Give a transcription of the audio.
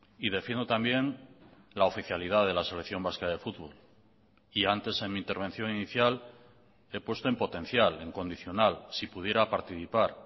y defiendo también la oficialidad de la selección vasca de fútbol y antes en mi intervención inicial he puesto en potencial en condicional si pudiera participar